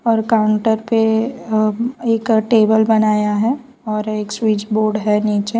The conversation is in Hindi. और काउंटर पे अ एक टेबल बनाया है और एक स्विच बोर्ड है नीचे --